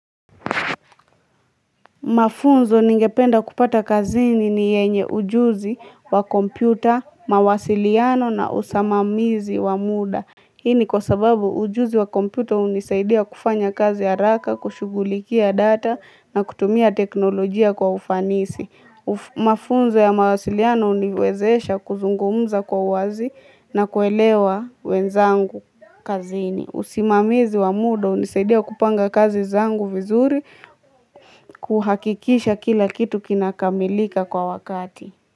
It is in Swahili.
Mafunzo ningependa kupata kazini ni yenye ujuzi wa kompyuta, mawasiliano na usimamizi wa muda. Hii ni kwa sababu, ujuzi wa kompyuta hunisaidia kufanya kazi haraka, kushughulikia data na kutumia teknolojia kwa ufanisi. Mafunzo ya mawasiliano uniwezesha kuzungumza kwa uwazi na kuelewa wenzangu kazini. Usimamizi wa muda hunisaidia kupanga kazi zangu vizuri kuhakikisha kila kitu kinakamilika kwa wakati.